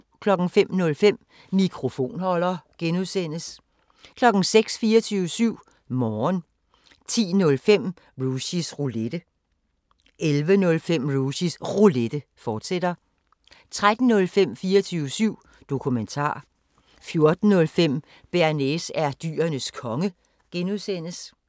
05:05: Mikrofonholder (G) 06:00: 24syv Morgen 10:05: Rushys Roulette 11:05: Rushys Roulette, fortsat 13:05: 24syv Dokumentar 14:05: Bearnaise er Dyrenes Konge (G)